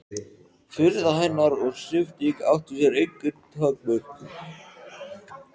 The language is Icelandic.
Furða hennar og hrifning átti sér engin takmörk.